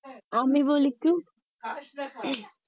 আমি বলি একটু